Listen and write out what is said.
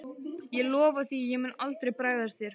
Ég lofa því að ég mun aldrei bregðast þér.